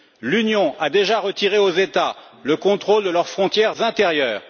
L'Union a déjà retiré aux États le contrôle de leurs frontières intérieures